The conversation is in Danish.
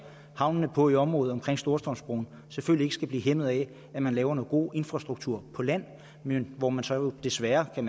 havnene på i området omkring storstrømsbroen selvfølgelig ikke skal blive hæmmet af at man laver noget god infrastruktur på land men hvor man jo så desværre kan